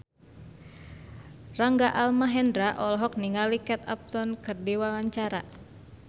Rangga Almahendra olohok ningali Kate Upton keur diwawancara